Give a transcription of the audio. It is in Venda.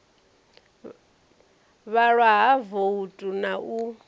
vhalwa ha voutu na u